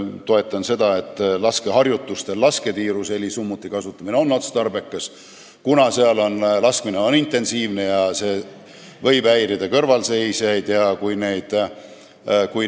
Arvan seda, et laskeharjutustel lasketiirus on helisummuti kasutamine otstarbekas, kuna seal on laskmine intensiivne ja see võib häirida kõrvalseisjaid.